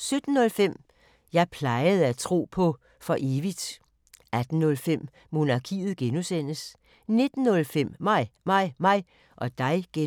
17:05: Jeg plejede at tro på for evigt 18:05: Monarkiet (G) 19:05: Mig, mig, mig og dig (G)